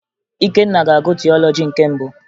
Ikenna ga-agụ tiọlọji nke mbụ